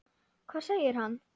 Hvað segir hann?